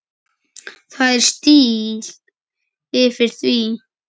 Það er stíll yfir því.